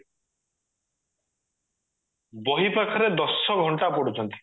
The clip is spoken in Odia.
ବହି ପାଖରେ ଦଶ ଘଣ୍ଟା ପଢୁଛନ୍ତି